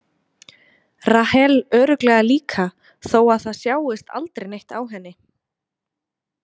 Rahel örugglega líka þó að það sjáist aldrei neitt á henni.